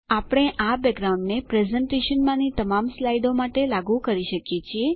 આપણે આ બેકગ્રાઉન્ડને પ્રેઝેંટેશનમાંની તમામ સ્લાઇડો માટે લાગુ કરી શકીએ છીએ